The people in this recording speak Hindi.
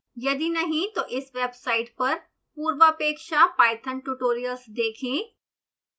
यदि नहीं तो इस वेबसाइट पर पूर्वापेक्षा पाइथन ट्यूटोरियल्स देखें